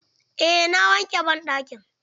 Eh na wanke banɗakin.